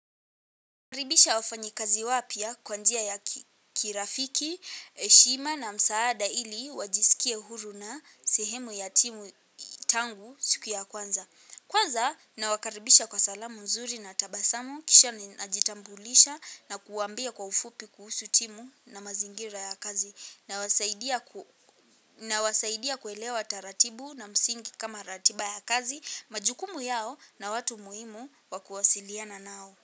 Nakaribisha wafanyikazi wapya kwa njia ya kirafiki, heshima na msaada ili wajisikie huru na sehemu ya timu tangu siku ya kwanza. Kwanza nawakaribisha kwa salamu nzuri na tabasamu, kisha najitambulisha na kuwaambia kwa ufupi kuhusu timu na mazingira ya kazi. Nawasaidia kuelewa taratibu na msingi kama ratiba ya kazi, majukumu yao na watu muhimu wa kuwasiliana nao.